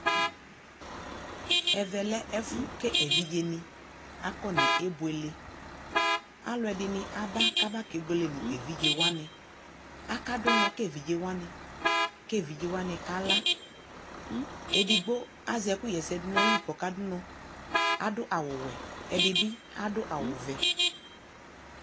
ɛvɛ lɛ ɛƒʋ kɛlɛ ɛvidzɛ ni akɔ nɛ bʋɛlɛ, alʋɛdini aba kʋ aba kɛ bʋɛlɛ nʋ ɛvidzɛ wani, aka dʋ ʋnɔ ka ɛvidzɛ wani kʋ ɛvidzɛ wani kala, ɛdigbɔ azɛ ɛkʋ yɛsɛ dʋnʋ ayili kʋ ɔka dʋnɔ, adʋ awʋ wɛ, ɛdibi adʋ awʋ vɛ